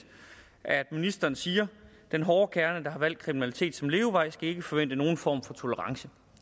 at ministeren siger den hårde kerne der har valgt kriminalitet som levevej skal ikke forvente nogen form for tolerance